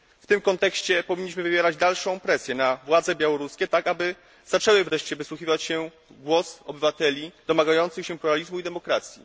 W tym kontekście powinniśmy wywierać dalszą presję na władze białoruskie, tak aby zaczęły wreszcie wsłuchiwać się w głos obywateli domagających się pluralizmu i demokracji.